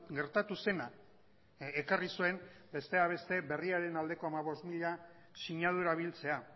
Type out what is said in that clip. gertatu zena ekarri zuen besteak beste berriaren aldeko hamabost mila sinadura biltzea